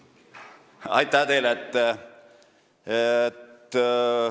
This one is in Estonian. Aitäh teile!